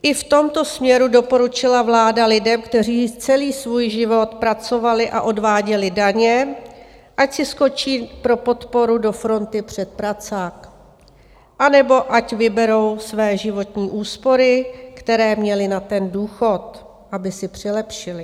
I v tomto směru doporučila vláda lidem, kteří celý svůj život pracovali a odváděli daně, ať si skočí pro podporu do fronty před pracák anebo ať vyberou své životní úspory, které měli na ten důchod, aby si přilepšili.